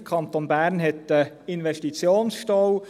Der Kanton Bern hat einen Investitionsstau.